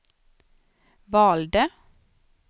valde